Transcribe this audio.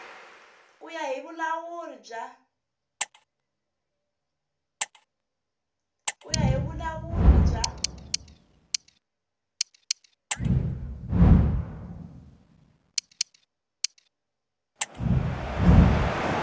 ku ya hi vulawuri bya